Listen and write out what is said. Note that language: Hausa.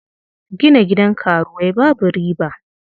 Gina gidan karuwai babu riba.